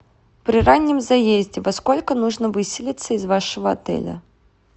при раннем заезде во сколько нужно выселиться из вашего отеля